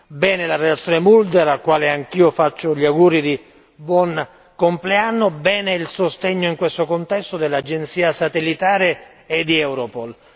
Bene la relazione Mulder al quale anch'io faccio gli auguri di buon compleanno bene il sostegno in questo contesto dell'agenzia satellitare e di Europol.